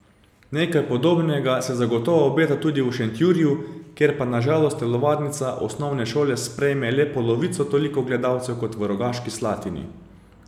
Nekaj podobnega se zagotovo obeta tudi v Šentjurju, kjer pa na žalost telovadnica osnovne šole sprejme le polovico toliko gledalcev kot v Rogaški Slatini.